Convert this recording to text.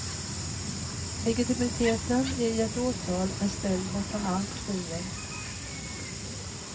Legitimiteten i ett åtal är ställd bortom allt tvivel.